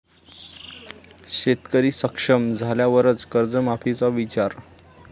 शेतकरी सक्षम झाल्यावरच कर्जमाफीचा विचार'